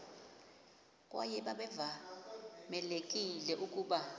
kwaye babevamelekile ukuba